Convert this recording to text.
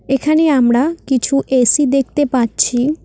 এখানে আমরা কিছু এ_সি দেখতে পাচ্ছি।